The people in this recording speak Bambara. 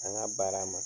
An ka baara ma